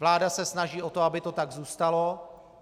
Vláda se snaží o to, aby to tak zůstalo.